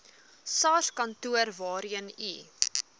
sarskantoor waarheen u